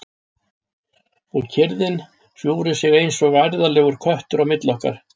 Og kyrrðin hjúfri sig eins og værðarlegur köttur á milli okkar.